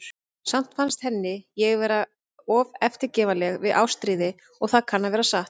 Samt fannst henni ég vera of eftirgefanleg við Ástríði, og það kann að vera satt.